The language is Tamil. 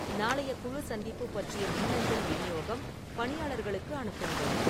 நாளைய குழு சந்திப்பு பற்றிய மின்னஞ்சல் விநியோகம் பணியாளர்களுக்கு அனுப்புங்கள்